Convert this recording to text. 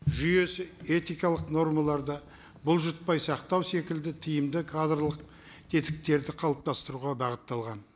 жүйесі этикалық нормаларды бұлжытпай сақтау секілді тиімді кадрлық тетіктерді қалыптастыруға бағытталған